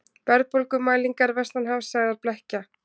Verðbólgumælingar vestanhafs sagðar blekkja